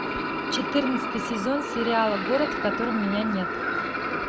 четырнадцатый сезон сериала город в котором меня нет